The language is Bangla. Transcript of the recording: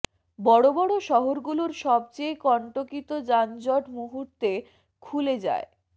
বড়ো বড়ো শহরগুলোর সবচেয়ে কন্টকিত যানজট মুহুর্তে খুলে যায়